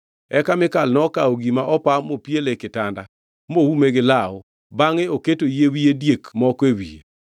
Eka Mikal nokawo gima opa mopiele e kitanda, moume gi law, bangʼe oketo yie diek moko e wiye.